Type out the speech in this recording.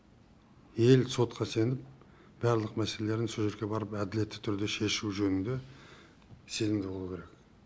ел сотқа сеніп барлық мәселелерін со жерге барып әділетті түрде шешу жөнінде сенімді болу керек